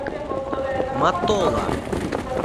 матола